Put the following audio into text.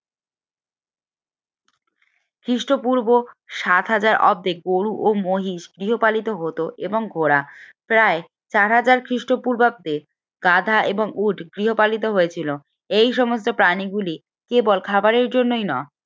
খ্রিস্টপূর্ব সাত হাজার অব্দে গরু এবং মহিষ গৃহপালিত হত এবং ওরা প্রায় চার হাজার খ্রিস্টপূর্বাব্দে গাধা এবং উট গৃহপালিত হয়েছিল এই সমস্ত প্রাণীগুলি কেবল খাবারের জন্যই নয়